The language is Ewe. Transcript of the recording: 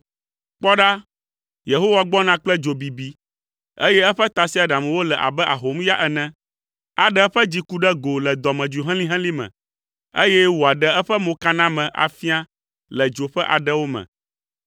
Kpɔ ɖa, Yehowa gbɔna kple dzo bibi, eye eƒe tasiaɖamwo le abe ahomya ene. Aɖe eƒe dziku ɖe go le dɔmedzoe helĩhelĩ me, eye wòaɖe eƒe mokaname afia le dzo ƒe aɖewo me,